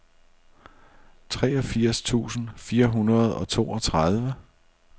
treogfirs tusind fire hundrede og toogtredive